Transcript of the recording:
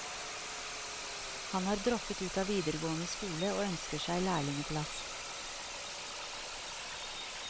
Han har droppet ut av videregående skole og ønsker seg lærlingeplass.